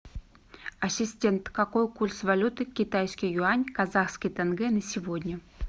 ассистент какой курс валюты китайский юань казахский тенге на сегодня